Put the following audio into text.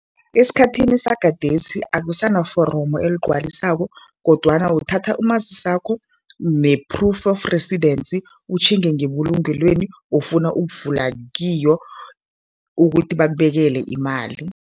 Esikhathini sagadesi akusanaforomo eligwaliswako kodwana uthatha umazisakho ne-proof of residence, utjhinge ngebulungelweni ofuna ukuvula kiyo ukuthi bakubekele imali.